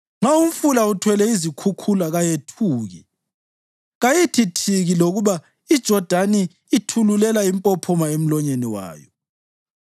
Nxa umfula uthwele izikhukhula kayethuki; kayithi thiki lokuba iJodani ithululela impophoma emlonyeni wayo.